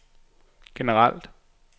generelt